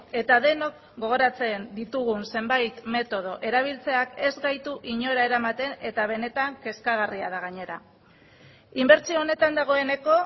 eta denok gogoratzen ditugun zenbait metodo erabiltzeak ez gaitu inora eramaten eta benetan kezkagarria da gainera inbertsio honetan dagoeneko